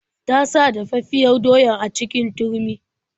Ta sa dafaffiyar doyar a cikin turmi.